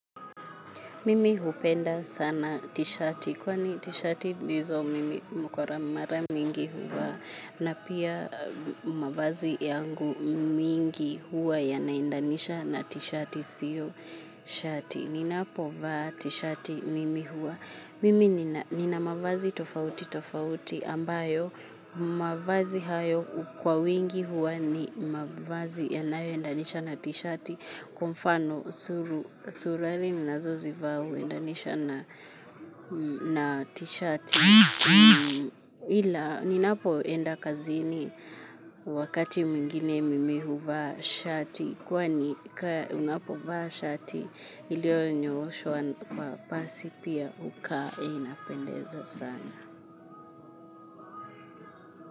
Mimi hupenda sana tishati kwani tishati ndizo mimi kwa mara mingi huvaa na pia mavazi yangu mingi huwa yanaendanisha na tishati sio shati ninapo vaa t-shati mimi huwa mimi nina mavazi tofauti tofauti ambayo mavazi hayo kwa wingi huwa ni mavazi yanayo endanisha na t-shati kwa mfano suruali ninazo zivaa huendanisha na na t-shati ila ninapo enda kazini wakati mwingine mimi huvaa shati kwani unapovaa shati iliyonyooshwa kwa pasi pia hukaa inapendeza sana.